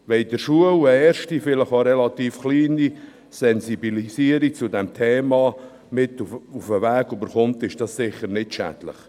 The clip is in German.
Wenn in der Schule eine erste, vielleicht auch relativ geringe Sensibilisierung zum Thema mit auf den Weg gegeben wird, ist das sicher nicht schädlich.